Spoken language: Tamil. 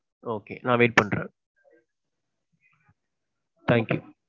okay நான் wait பன்றேன் thank you.